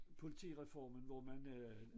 Politireformen hvor man øh